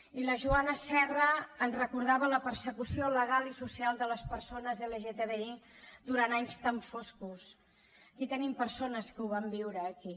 i la joana serra ens recordava la persecució legal i social de les persones lgtbi durant anys tan foscos i tenim persones que ho van viure aquí